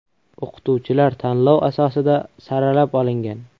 O‘qituvchilar tanlov asosida saralab olingan.